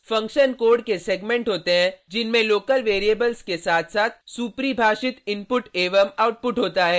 function code के segment होते हैं जिनमें लोकल वैरिएबल्स के साथ साथ सुपरिभाषित इनपुट एवं आउटपुट होता है